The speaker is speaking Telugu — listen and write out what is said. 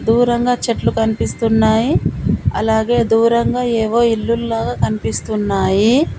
దూరంగా చెట్లు కనిపిస్తున్నాయి అలాగే దూరంగా ఏవో ఇల్లుల్లాగా కనిపిస్తున్నాయి.